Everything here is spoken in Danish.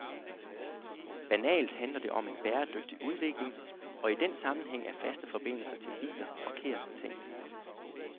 Banalt handler det om en bæredygtig udvikling, og i den sammenhæng er faste forbindelser til biler forkert tænkt.